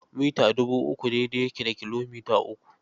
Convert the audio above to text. Mita dubu uku daidai yake da kilomita uku.